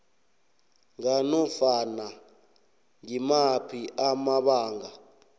nganofana ngimaphi amabanga